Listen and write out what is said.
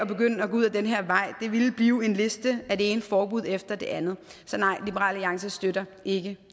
ud ad den her vej det ville blive en liste med det ene forbud efter det andet så nej liberal alliance støtter ikke